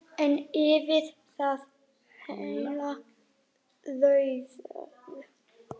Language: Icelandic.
En yfir það heila: Rauður.